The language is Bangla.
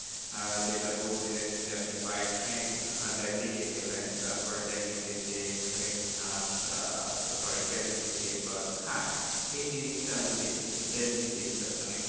আহ যেটা বলতে চাইছেন যে, আপনি by ট্রেন আহ দিল্লী গেছিলেন। তারপরে দিল্লী থেকে ট্রেন sorry দিল্লী থেকে বাস। হ্যাঁ এই জিনিসটা আমি দেখেছি দিল্লীতে interconnect